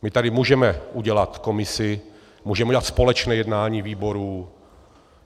My tady můžeme udělat komisi, můžeme udělat společné jednání výborů.